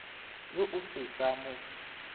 yo o se sa mo